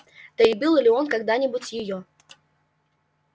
да и был ли он когда-нибудь её